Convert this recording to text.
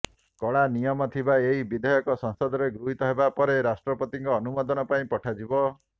କଡ଼ା ନିୟମ ଥିବା ଏହି ବିଧେୟକ ସଂସଦରେ ଗୃହୀତ ହେବାପରେ ରାଷ୍ଟ୍ରପତିଙ୍କ ଅନୁମୋଦନ ପାଇଁ ପଠାଯିବ